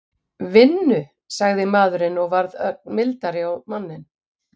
Vinnu? sagði maðurinn og varð ögn mildari á manninn.